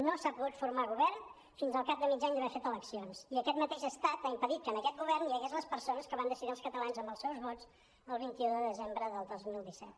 no s’ha pogut formar govern fins al cap de mig any d’haver fet elec·cions i aquest mateix estat ha impedit que en aquest govern hi hagués les perso·nes que van decidir els catalans amb els seus vots el vint un de desembre de dos mil disset